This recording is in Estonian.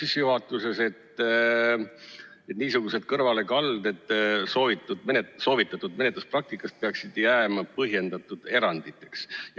Sissejuhatuses on öeldud, et niisugused kõrvalekalded soovitatud menetluspraktikast peaksid jääma põhjendatud eranditeks.